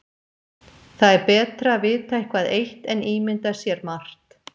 Það er betra að vita eitthvað eitt en ímynda sér margt.